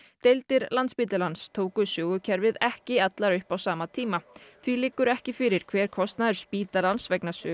deildir Landspítalans tóku Sögu kerfið ekki allar upp á sama tíma því liggur ekki fyrir hver kostnaður spítalans vegna Sögu